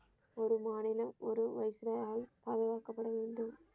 ஒரு மாநிலம் ஒரு பாதுகாக்கப்பட வேண்டும்.